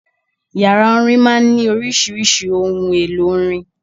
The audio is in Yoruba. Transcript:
Yàrá orin máa ń ní oríṣiríṣi ohun-èlò orin.